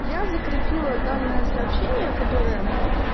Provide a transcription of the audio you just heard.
я закрепила данное сообщение которое